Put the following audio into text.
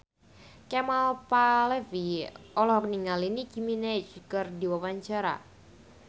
Kemal Palevi olohok ningali Nicky Minaj keur diwawancara